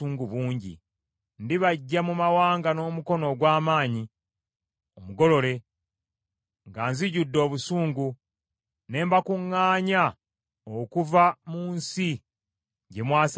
Ndibaggya mu mawanga n’omukono ogw’amaanyi omugolole, nga nzijudde obusungu, ne mbakuŋŋaanya okuva mu nsi gye mwasaasaanira.